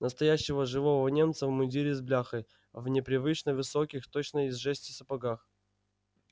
настоящего живого немца в мундире с бляхой в непривычно высоких точно из жести сапогах